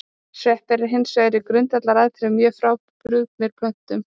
Sveppir eru hins vegar í grundvallaratriðum mjög frábrugðnir plöntum.